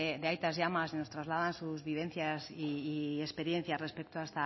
de aitas y amas y nos trasladan sus vivencias y experiencias respecto a